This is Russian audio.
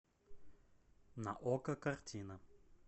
на окко картина